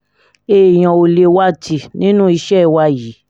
èèyàn ò lè wá a tì nínú iṣẹ́ wa yìí